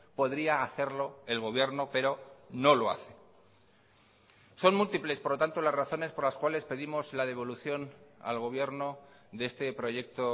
podría hacerlo el gobierno pero no lo hace son múltiples por lo tanto las razones por las cuales pedimos la devolución al gobierno de este proyecto